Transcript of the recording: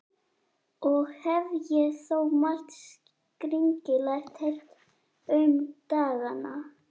Og hef ég þó margt skringilegt heyrt um dagana.